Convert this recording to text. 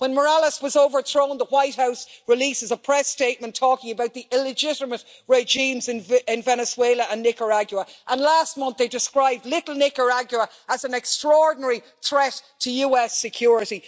When Morales was overthrown, the White House released a press statement talking about the illegitimate regimes in Venezuela and Nicaragua, and last month they described little Nicaragua as an extraordinary threat to US security.